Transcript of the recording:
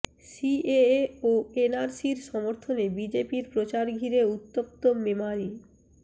CAA ও এনআরসির সমর্থনে বিজেপির প্রচার ঘিরে উত্তপ্ত মেমারি